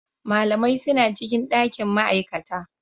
Malamai suna cikin dakin ma'aikata.